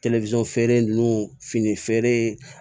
telefɔni feere nunnu fini feere